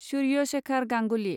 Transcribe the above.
Surya Shekhar Ganguly